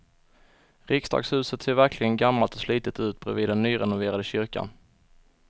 Riksdagshuset ser verkligen gammalt och slitet ut bredvid den nyrenoverade kyrkan.